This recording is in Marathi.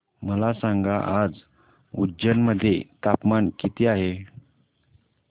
मला सांगा आज उज्जैन मध्ये तापमान किती आहे